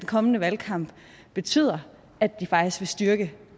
kommende valgkamp betyder at det faktisk vil styrke